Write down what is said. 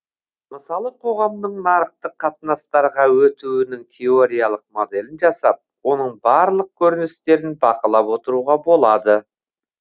мысалы қоғамның нарықтық қатынастарға өтуінің теориялық моделін жасап оның барлық көріністерін бақылап отыруға болады